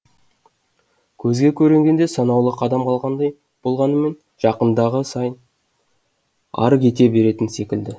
көзге көрінгенде санаулы қадам қалғандай болғанымен жақындаған сайын ары кете беретін секілді